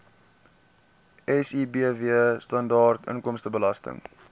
sibw standaard inkomstebelasting